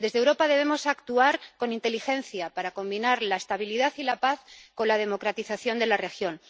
Desde Europa debemos actuar con inteligencia para combinar la estabilidad y la paz con la democratización de la región.